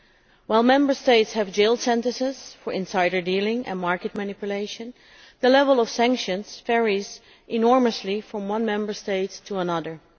Although Member States have jail sentences for insider dealing and market manipulation, the level of sanctions varies enormously from one Member State to another.